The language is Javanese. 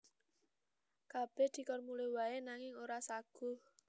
Kabèh dikon mulih waé nanging ora saguh